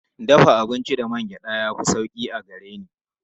Dafa abinci da man gyaɗa ya fi sauƙi a gare ni.